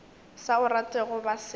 sa o ratego ba se